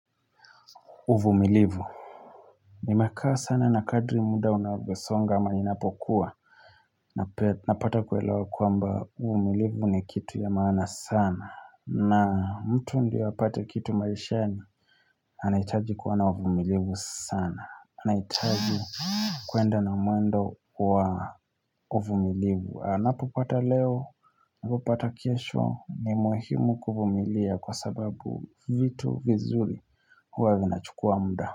Uvumilivu. Nimekaa sana na kadri muda unavyosonga ama inapokuwa Napata kuelewa kwamba uvumilivu ni kitu ya maana sana na mtu ndiyo apate kitu maishani anahitaji kuwa na uvumilivu sana anahitaji kuenda na mwendo wa uvumilivu anapopata leo, anapopata kesho ni muhimu kuvumilia kwa sababu vitu vizuri huwa vinachukua muda.